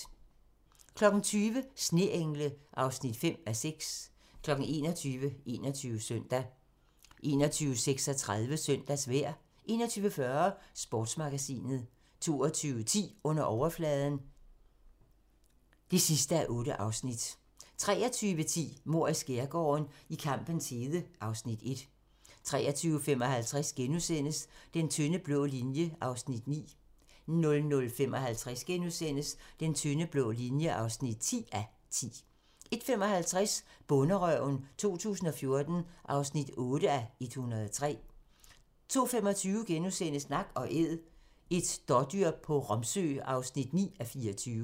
20:00: Sneengle (5:6) 21:00: 21 Søndag 21:36: Søndagsvejr 21:40: Sportsmagasinet 22:10: Under overfladen (8:8) 23:10: Mord i skærgården: I kampens hede (Afs. 1) 23:55: Den tynde blå linje (9:10)* 00:55: Den tynde blå linje (10:10)* 01:55: Bonderøven 2014 (8:103) 02:25: Nak & æd - et dådyr på Romsø (9:24)*